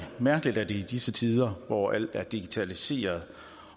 mærkeligt at det i disse tider hvor alt er digitaliseret